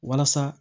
Walasa